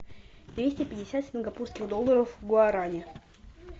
двести пятьдесят сингапурских долларов в гуарани